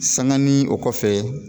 Sanganin o kɔfɛ